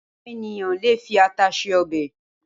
Awòn éniyàn lé fi àtá sé óbè